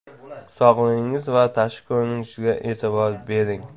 Sog‘lig‘ingiz va tashqi ko‘rinishingizga e’tibor bering.